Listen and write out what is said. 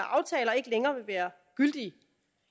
aftaler ikke længere vil være gyldige